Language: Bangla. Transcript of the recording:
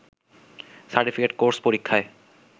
সার্টিফিকেট কোর্স পরীক্ষায়